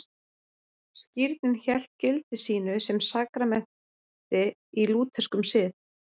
Skírnin hélt gildi sínu sem sakramenti í lútherskum sið.